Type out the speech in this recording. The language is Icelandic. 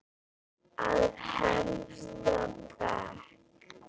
Á fremsta bekk.